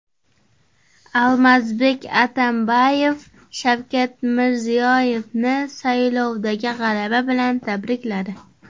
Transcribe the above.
Almazbek Atambayev Shavkat Mirziyoyevni saylovdagi g‘alaba bilan tabrikladi.